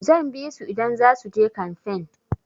Zan bisu idan zasu je kanfen.